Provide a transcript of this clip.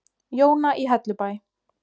Jóna í Hellubæ.